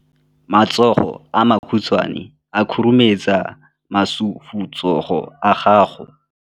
Matsogo a makhutshwane a khurumetsa masufutsogo a gago.